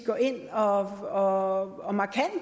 går ind og